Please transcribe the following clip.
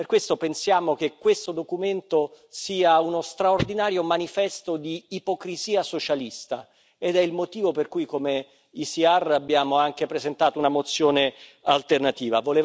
Per questo pensiamo che questo documento sia uno straordinario manifesto di ipocrisia socialista ed è il motivo per cui, come ECR abbiamo anche presentato una mozione alternativa.